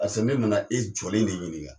Pase ne nana e jɔlen de ɲininka